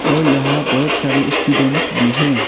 और यहां बहुत सारे स्टूडेंट भी हैं।